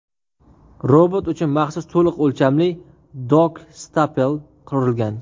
Robot uchun maxsus to‘liq o‘lchamli dok-stapel qurilgan.